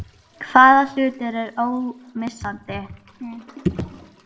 Hvaða hlutur er ómissandi?